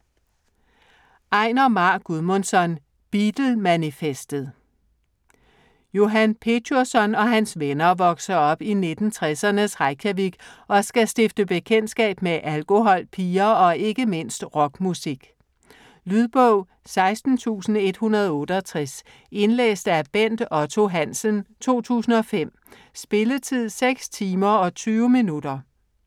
Einar Már Guðmundsson: Beatlemanifestet Johan Petjursson og hans venner vokser op i 1960'ernes Reykjavik, og skal stifte bekendtskab med alkohol, piger og ikke mindst rockmusik. Lydbog 16168 Indlæst af Bent Otto Hansen, 2005. Spilletid: 6 timer, 20 minutter.